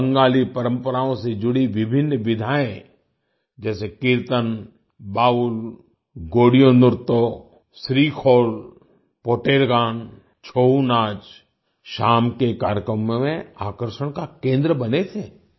बंगाली परंपराओं से जुड़ी विभिन्न विधाएं जैसे कीर्तन बाउल गोड़ियों नृत्तों स्रीखोल पोटेर गान छोऊनाच शाम के कार्यक्रमों में आकर्षण का केंद्र बने थे